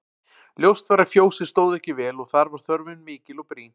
Ljóst var að fjósið stóð ekki vel og þar var þörfin mikil og brýn.